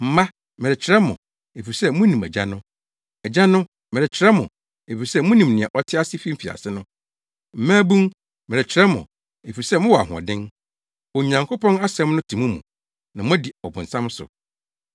Mma, merekyerɛw mo, efisɛ munim Agya no. Agyanom, merekyerɛw mo, efisɛ munim nea ɔte ase fi mfiase no. Mmabun, merekyerɛw mo, efisɛ mowɔ ahoɔden. Onyankopɔn asɛm no te mo mu na moadi ɔbonsam so.